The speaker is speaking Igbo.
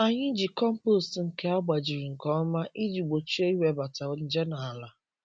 Anyị ji compost nke agbajiri nke ọma iji gbochie iwebata nje n’ala.